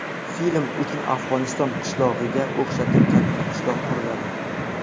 Film uchun Afg‘oniston qishlog‘iga o‘xshatib katta qishloq quriladi.